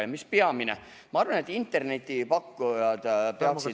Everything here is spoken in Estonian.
Ja mis peamine, ma arvan, et internetipakkujad peaksid ...